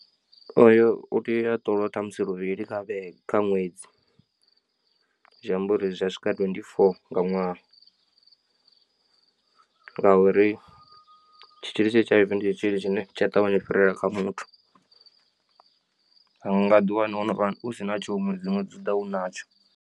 Oyo utea ṱolwa ṱhamusi luvhili kha vhege kha ṅwedzi zwi amba uri zwi a swika twendi four nga ṅwaha ngauri tshitzhili tsha h_i_v ndi tshitzhili tshine tshi a ṱavhanya u fhirela kha muthu a nga ḓiwana wovha usina tsho hoyu ṅwedzi ṅwedzi uḓa ho wa vha u natsho.